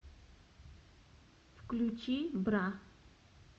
включи бра